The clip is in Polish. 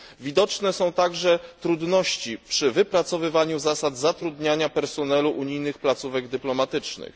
Widoczne są także trudności przy wypracowywaniu zasad zatrudniania personelu unijnych placówek dyplomatycznych.